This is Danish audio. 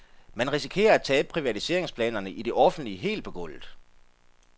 Man risikerer at tabe privatiseringsplanerne i det offentlige helt på gulvet.